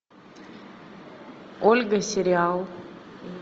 ольга сериал